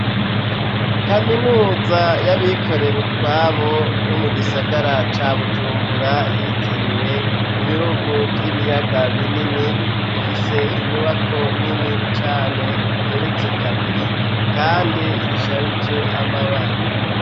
Kaminuza y'abikorera utwabo yo mu gisagara ca Bujumbura yitiriwe Ibihugu vy'Ibiyaga Binini, ifise inyubako nini cane igeretse kabiri kandi isharije amabara.